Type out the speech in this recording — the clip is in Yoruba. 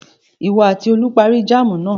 Ìwọ àti Olú parí jáámù náà.